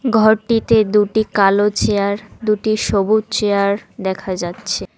ঘরটিতে দুটি কালো চেয়ার দুটি সবুজ চেয়ার দেখা যাচ্ছে।